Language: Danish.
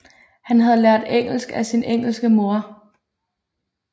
Han havde lært engelsk af sin engelske mor